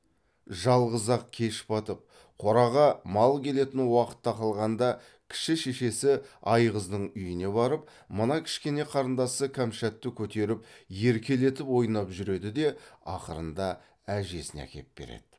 жалғыз ақ кеш батып қораға мал келетін уақыт тақалғанда кіші шешесі айғыздың үйіне барып мына кішкене қарындасы кәмшатты көтеріп еркелетіп ойнап жүреді де ақырында әжесіне әкеп береді